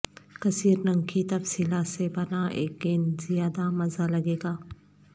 کثیر رنگ کی تفصیلات سے بنا ایک گیند زیادہ مزہ لگے گا